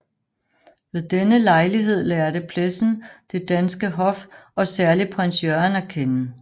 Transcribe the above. Ved denne lejlighed lærte Plessen det danske hof og særlig Prins Jørgen at kende